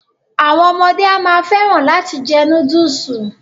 Àwọn ọmọde a máa fẹ́ràn láti jẹ núdùsù.